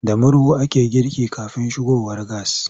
Da murhu ake girki kafin shigowar gas.